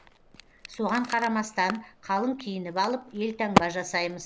соған қарамастан қалың киініп алып елтаңба жасаймыз